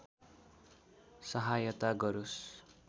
सहायता गरोस्